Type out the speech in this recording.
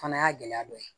Fana y'a gɛlɛya dɔ ye